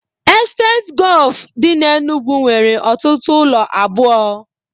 Estate Golf dị n'Enugwu nwere ọtụtụ ụlọ abụọ